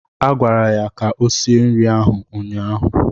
Agwara ya ka o sie nri ahụ ụnyaahụ!